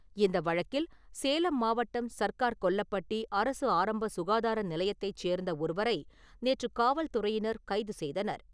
இந்த வழக்கில் சேலம் மாவட்டம் சர்க்கார் கொல்லப்பட்டி அரசு ஆரம்ப சுகாதார நிலையத்தை சேர்ந்த ஒருவரை நேற்று காவல்துறையினர் கைது செய்தனர்.